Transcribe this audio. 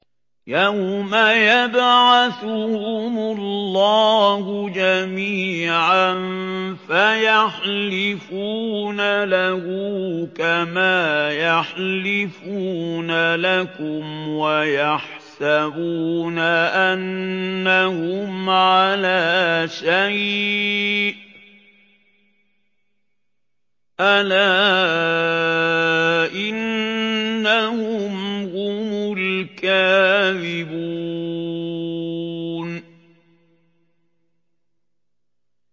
يَوْمَ يَبْعَثُهُمُ اللَّهُ جَمِيعًا فَيَحْلِفُونَ لَهُ كَمَا يَحْلِفُونَ لَكُمْ ۖ وَيَحْسَبُونَ أَنَّهُمْ عَلَىٰ شَيْءٍ ۚ أَلَا إِنَّهُمْ هُمُ الْكَاذِبُونَ